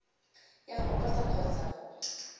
ya go posa kgotsa go